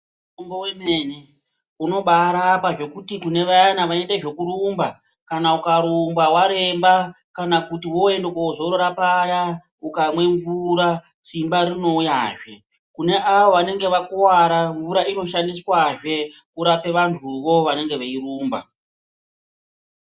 Mutombo wemene unobaarapa zvokuti kune vayana vanoite zvokurumba kana ukarumba waremba kana kuti wooende koozorora paya ukamwe mvura,, simba rinouyazve. Kune avo vanenge vakuvara, mvura inoshandiswazve kurape vantuvo vanenge veirumba.